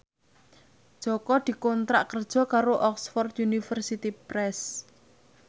Jaka dikontrak kerja karo Oxford University Press